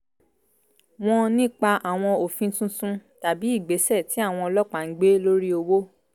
wọn nípa àwọn òfin tuntun tàbí ìgbésẹ̀ tí àwọn ọlọ́pàá ń gbé lóri òwò